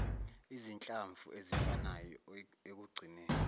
izinhlamvu ezifanayo ekugcineni